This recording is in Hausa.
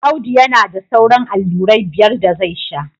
Audu yana da sauran allurai biyar da zai sha